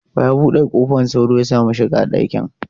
Wa ya bude kofar sauro ya samu shiga dakin?